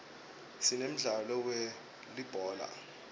sinemdlalo we uulibhola